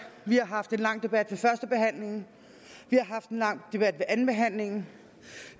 vi har haft en lang debat ved førstebehandlingen vi har haft en lang debat ved andenbehandlingen